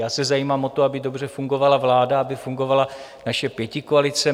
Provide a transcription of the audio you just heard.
Já se zajímám o to, aby dobře fungovala vláda, aby fungovala naše pětikoalice.